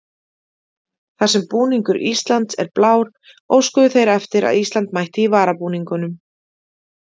Þar sem búningur Íslands er blár óskuðu þeir eftir að Ísland mætti í varabúningum.